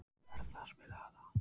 Bertha, spilaðu lag.